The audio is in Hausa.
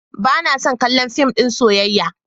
Ba na son kallon fim ɗin soyayya.